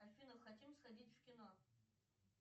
афина хотим сходить в кино